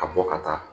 A bɔ ka taa